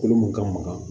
Kolo mun ka magan